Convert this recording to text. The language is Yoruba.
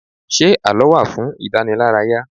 Ṣé àlọ́ wá fún ìdànílárayà?